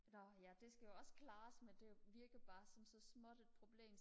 nåh ja det skal jo også klares men det virker bare som så småt et problem